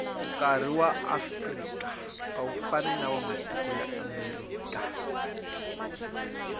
nkari waafrika awufani nawamatiko yaamerika